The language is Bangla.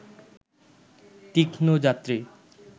তীক্ষ্ণ যাত্রী